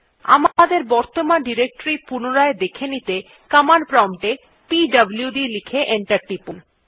আমাদের বর্তমান ডিরেক্টরী পুনরায় দেখে নিতে কমান্ড প্রম্পট এ পিডব্লুড লিখে এন্টার টিপুন